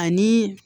Ani